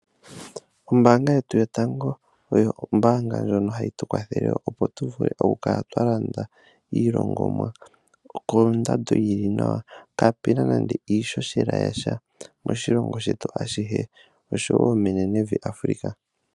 Ombanga yetu yotango oyo ombanga ndjono hayi tu kwathele opo tukale twa landa iilongomwa kondando yili nawa kaapena nande iishoshela yasha moshilongo shetu ashihe oshowo menenevi Africa.